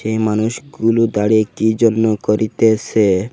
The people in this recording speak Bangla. এই মানুষগুলো দাঁড়িয়ে কি যেন করিতেসে।